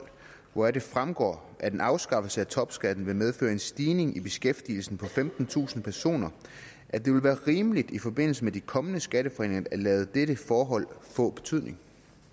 hvoraf det fremgår at en afskaffelse af topskatten vil medføre en stigning i beskæftigelsen på femtentusind personer at det vil være rimeligt i forbindelse med de kommende skatteforhandlinger at lade dette forhold få betydning